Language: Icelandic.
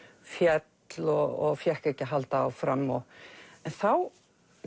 féll og fékk ekki að halda áfram en þá